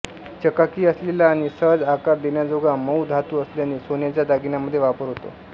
चकाकी असलेला आणि सहज आकार देण्याजोगा मऊ धातू असल्याने सोन्याचा दागिन्यांमध्ये वापर होतो